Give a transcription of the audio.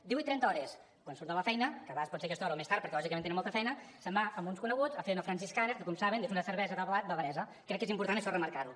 divuit trenta hores quan surt de la feina que a vegades pot ser aquesta hora o més tard perquè lògicament tenen molta feina se’n va amb uns coneguts a fer una franziskaner que com saben és una cervesa de blat bavaresa crec que és important això remarcar ho